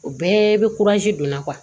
O bɛɛ bɛ donna